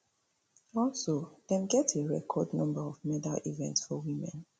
also dem get a record number of medal events for women